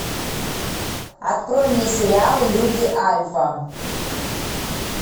открой мне сериал люди альфа